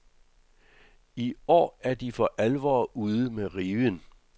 I år er de for alvor ude med riven.